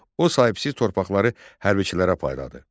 O sahibsiz torpaqları hərbçilərə payladı.